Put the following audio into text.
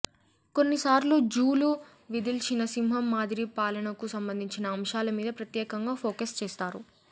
కొన్నిసార్లు జూలు విదిల్చిన సింహం మాదిరి పాలనకు సంబంధించిన అంశాల మీద ప్రత్యేకంగా ఫోకస్ చేస్తారు